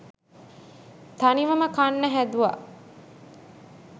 තනිවම කන්න හැදුව